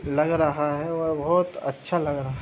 लग रहा है वह बहोत अच्छा लग रहा --